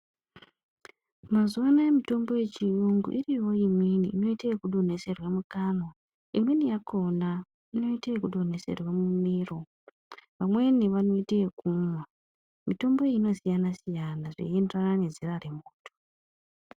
Mazuvano mitombo yechiyungu iriyo imweni inoite yekudonheserwa mukanwa. Imweni yakhona inodonheserwa mumiro. Vamweni vanoite yekumwa. Mitombo iyi inosiyana-siyana zvichienderana nezera remuntu.